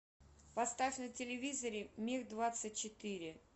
поставь на телевизоре мир двадцать четыре